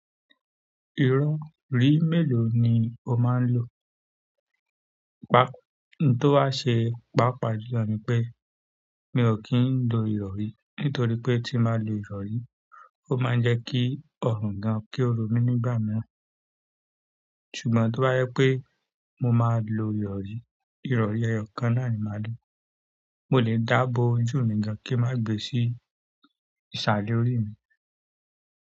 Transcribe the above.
Irọ̀rí mélòó ni o máa ń lò? Pá, tó bá ṣe, pàápàá jùlọ ni pé mi ò kí ń lo ìrọ̀rí nítorí pé tí n bá lo ìrọ̀rí, ó máa ń jẹ́ kí ọrùn gan-an kí ó ro mí nígbà mìíràn. Ṣùgbọ́n tó bá yẹ pé mo máa lo ìrọ̀rí, ìrọ̀rí ẹyọkan náà ni màá lò. Mo lè dàá bo ojú mi gan-an kí n má gbe sí ìsàlẹ̀ orí mi.